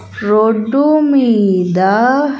Road మీద.